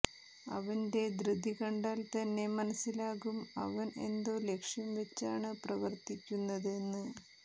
അവന്റെ ധൃതി കണ്ടാൽ തന്നെ മനസിലാകും അവൻ എന്തോ ലക്ഷ്യം വെച്ചാണ് പ്രവർത്തിക്കുന്നത് എന്ന്